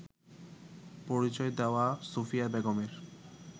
পরিচয় দেওয়া সুফিয়া বেগমের